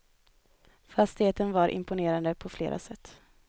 Fastigheten var imponerande på flera sätt.